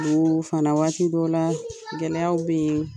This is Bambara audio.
fana waati dɔw la gɛlɛyaw bɛ yen.